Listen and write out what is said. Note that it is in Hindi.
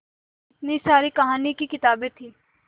इतनी सारी कहानी की किताबें थीं